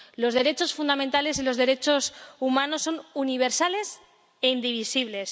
Los derechos fundamentales y los derechos humanos son universales e indivisibles.